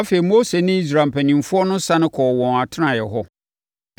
Afei, Mose ne Israel mpanimfoɔ no sane kɔɔ wɔn atenaeɛ hɔ.